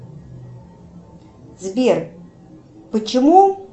сбер почему